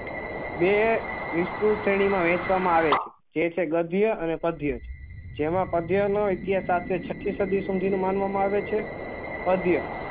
બે વિશ્વની શ્રેણી માં વેચવા માં આવે છે જે છે ગધ્ય અને પધ્ય્જ જેમાં પ્ગ્યે નો એથી સાથે છત્તી સદી સુધી નો માનવા માં આવે છે અધ્ય